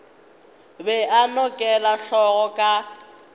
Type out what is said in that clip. be a nokela hlogo ka